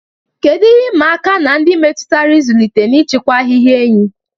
Kedu ihe ịma aka ndị metụtara ịzụlite na ijikwa ahịhịa enyí?